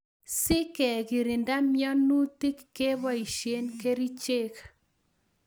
Si kekirinda mianutik ke poishe kerichek